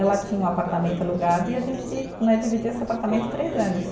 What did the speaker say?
Ela tinha um apartamento alugado e a gente né, dividiu esse apartamento três anos.